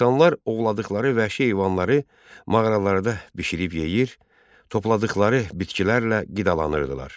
İnsanlar ovladıqları vəhşi heyvanları mağaralarda bişirib yeyir, topladıqları bitkilərlə qidalanırdılar.